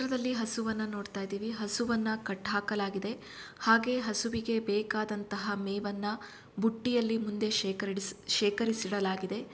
ಈ ಚಿತ್ರದಲ್ಲಿ ಹಸುವನ್ನ ನೋಡ್ತಾ ಇದ್ದಿವಿ ಹಸುವನ್ನ ಕಟ್ಟಾಹಾಕಲಾಗಿದೆ ಹಾಗೆ ಹಸುವಿಗೆ ಬೇಕಾದಂತಹ ಮೇವನ್ನ ಬುಟ್ಟಿಯಲ್ಲಿ ಮುಂದೆ ಶೇಕರಿಡಿಸಿ ಶೆಕರಿಸಿ ಇಡಲಾಗಿದೆ .